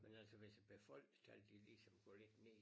Men altså hvis befolkningstallet de ligesom går lidt ned